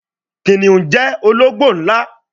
Kìnìún jẹ ológbò nlá